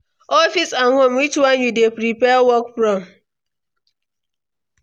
Office and home, which one you dey prefer work from?